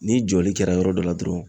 Ni jɔli kɛra yɔrɔ dɔ la dɔrɔn